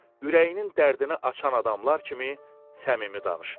ürəyinin dərdini açan adamlar kimi səmimi danışdı.